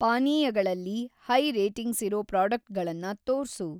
ಪಾನೀಯಗಳಲ್ಲಿ high ರೇಟಿಂಗ್ಸಿರೋ ಪ್ರಾಡಕ್ಟುಗಳನ್ನ ತೋರ್ಸು.